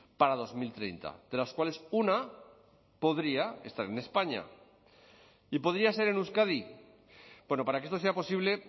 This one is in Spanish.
para dos mil treinta de las cuales una podría estar en españa y podría ser en euskadi bueno para que esto sea posible